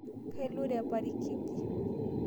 Kailure parikiji